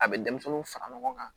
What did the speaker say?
A bɛ denmisɛnninw fara ɲɔgɔn kan